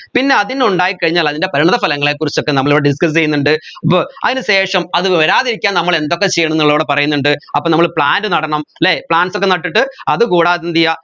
പിന്നെ അതിനുണ്ടായിക്കഴിഞ്ഞാൽ അതിന്റെ പരിമിതഫലങ്ങളെ കുറിച്ചൊക്കെ നമ്മൾ ഇവിടെ discuss ചെയ്യുന്നുണ്ട് അതിന് ശേഷം അത് വരാതിരിക്കാൻ നമ്മൾ എന്തൊക്കെ ചെയ്യണം എന്നുള്ളത് ഇവിടെ പറയന്നിണ്ട് അപ്പോ നമ്മൾ plant നടണം അല്ലെ plants ഒക്കെ നട്ടിട്ട് അതുകൂടാതെ എന്ത് ചെയ്യാ